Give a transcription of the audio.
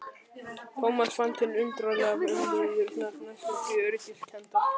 Thomas fann til undarlegrar vellíðunar, næstum því öryggiskenndar.